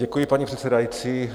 Děkuji, paní předsedající.